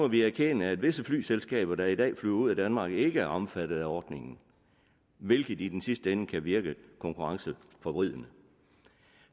vi erkende at visse flyselskaber der i dag flyver ud af danmark ikke er omfattet af ordningen hvilket i den sidste ende kan virke konkurrenceforvridende